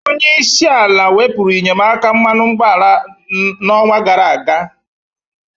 Onyeisi ala wepurụ inyemaka mmanụ ụgboala na ọñwa gara-aga.